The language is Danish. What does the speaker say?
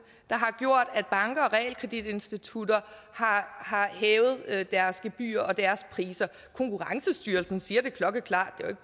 der har gjort at banker og realkreditinstitutter har hævet deres gebyrer og deres priser konkurrencestyrelsen siger det klokkeklart det